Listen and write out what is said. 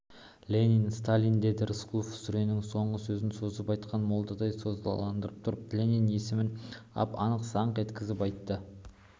ленин сталииин деді рысқұлов сүренің соңғы сөзін созып айтқан молдадай созалаңдатып тұрып ленин есімін ап-анық саңқ еткізіп айтты